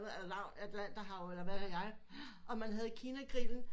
Atlanterhav eller hvad ved jeg og man havde kina grillen